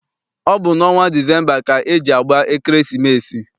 Ọ bụ n'ọnwa Disemba ka eji agba ekeresimesi.